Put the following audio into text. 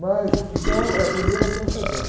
Mas, então, é primeiro a transcendência.